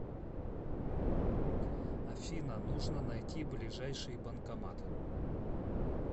афина нужно найти ближайший банкомат